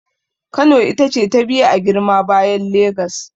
Kano ita ce ta biyu a girma bayan Legas.